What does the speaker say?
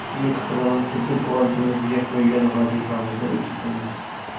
Umid qilamanki, biz oldimizga qo‘ygan vazifamizni uddalaymiz.